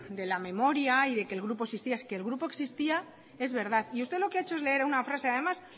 de la memoria y de que el grupo existía que el grupo existía es verdad y usted lo que ha hecho es leer una frase además